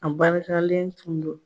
A barakalen tun do.